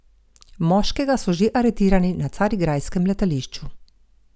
Moškega so že aretirali na carigrajskem letališču.